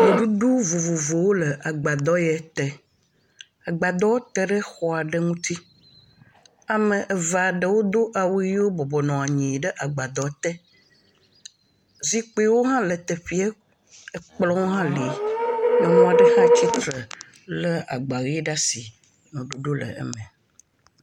Nuɖuɖu vovovowo le agbadɔ ye te, agbadɔ te ɖe xɔ aɖe ŋuti ame eve aɖewo do awu yiwo bɔbɔ anyi ɖe agbadɔ aɖe te, zikpuiwo hã le teƒe, ekplɔwo hã li, nyɔnu aɖe tsitre ɖe lé agba ʋe ɖe asi nuɖuɖu le eme.